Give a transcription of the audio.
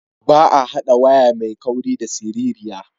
Ba a haɗa waya mai kauri da siririya.